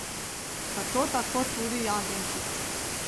Zato tako tudi jagenjček.